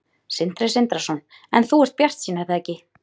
Sindri Sindrason: En þú ert bjartsýn er það ekki?